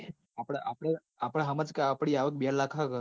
આપડ આપડ આપડ હમજ ક આપડી આવક બે લાખ હક